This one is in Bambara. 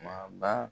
Ma ba